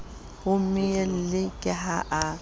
ho mmuelli ke ha a